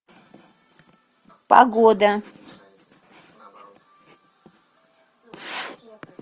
погода